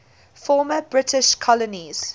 former british colonies